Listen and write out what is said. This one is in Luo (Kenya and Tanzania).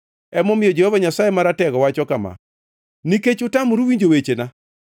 Emomiyo Jehova Nyasaye Maratego wacho kama: “Nikech utamuru winjo wechena,